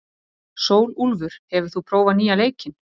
Sólúlfur, hefur þú prófað nýja leikinn?